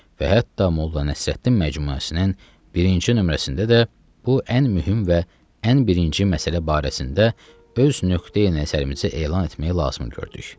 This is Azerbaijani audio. Və hətta Molla Nəsrəddin məcmuəsinin birinci nömrəsində də bu ən mühüm və ən birinci məsələ barəsində öz nöqteyi-nəzərimizi elan etmək lazım gördük.